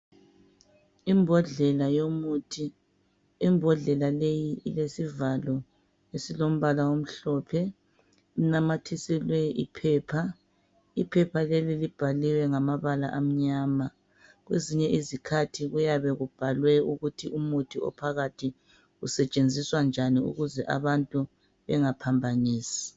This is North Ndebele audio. Imbodlela yomuthi, imbodlela leyi ilesivalo esilombala omhlophe. Kunamthiselwe iphepha. Iphepha leli libhaliwe ngamabala amnyama. Kwezinye izikhathi kuyabe kubhalwe ukuthi umuthi ophakathi usetshenziswa njani ukuze umuntu angaphambabisi